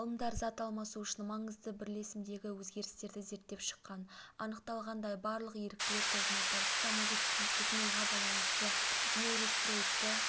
ғалымдар зат алмасу үшін маңызды бірлесімдегі өзгерістерді зерттеп шыққан анықталғандай барлық еріктілер тобында парацетамолды тұтынуға байланысты нейростероидты